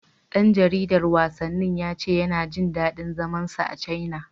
Ɗan jaridar wasannin ya ce yana jin daɗin zaman sa a Caina.